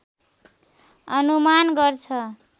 अनुमान गर्छ